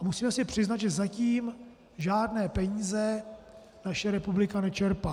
A musíme si přiznat, že zatím žádné peníze naše republika nečerpá.